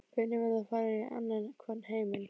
Börnin verða að fara í annan hvorn heiminn.